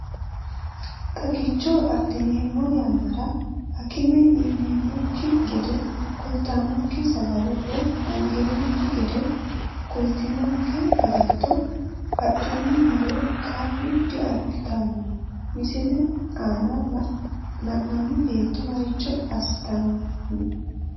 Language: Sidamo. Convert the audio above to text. Xagicho adhineemmo yannara akime ineemmokki gede kultinonke sagale woy angeemmokki gede kultinonke agatto adhinummoro qar diabbitanno, Misile aana la’inanni beetto maricho assitanni?